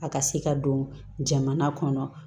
A ka se ka don jamana kɔnɔ